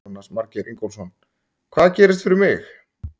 Jónas Margeir Ingólfsson: Hvað gerist fyrir mig?